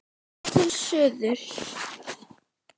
Lítum til suðurs.